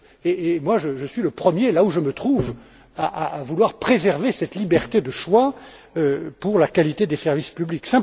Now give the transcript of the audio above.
Et je suis le premier, là où je me trouve, à vouloir préserver cette liberté de choix pour la qualité des services publics.